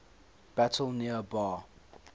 battle near bar